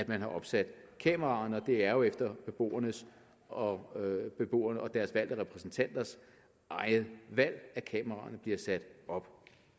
man har opsat kameraerne og det er jo efter beboernes og beboernes og deres valgte repræsentanters eget valg at kameraerne bliver sat op